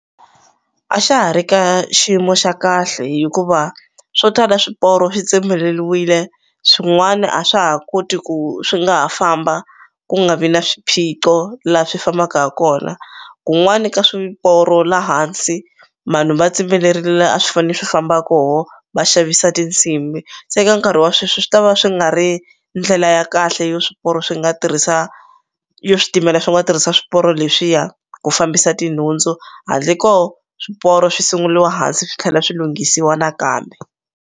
A xa ha ri ka xiyimo xa kahle hikuva swo tala swiporo swi tsemeleliwile swin'wani a swa ha koti ku swi nga ha famba ku nga vi na swiphiqo la swi fambaka kona kun'wani ka swiporo la hansi manhu va tsemeleriwile la a swi fane swi famba koho va xavisa tintshimi se ka nkarhi wa sweswi swi ta va swi nga ri ndlela ya kahle yo swiporo swi nga tirhisa yo switimela swi nga tirhisa swiporo leswiya ku fambisa tinhundzu handle ko swiporo swi sunguliwa hansi swi tlhela swi lunghisiwa nakambe.